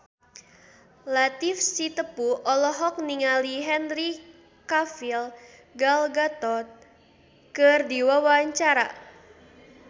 Latief Sitepu olohok ningali Henry Cavill Gal Gadot keur diwawancara